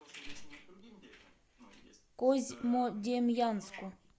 козьмодемьянску